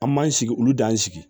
An m'an sigi olu dan sigi